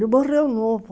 Ele morreu novo.